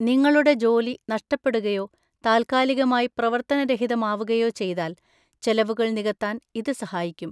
നിങ്ങളുടെ ജോലി നഷ്‌ടപ്പെടുകയോ താൽക്കാലികമായി പ്രവർത്തനരഹിതമാകുകയോ ചെയ്‌താൽ ചെലവുകൾ നികത്താൻ ഇത് സഹായിക്കും.